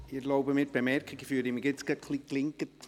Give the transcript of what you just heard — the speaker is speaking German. Ich erlaube mir die Bemerkung, dass ich mich etwas gelinkt fühle.